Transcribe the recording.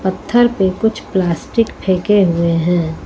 पत्थर पे कुछ प्लास्टिक फेंके हुए हैं।